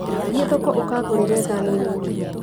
Thiĩ thoko ũkangũrĩre thani nini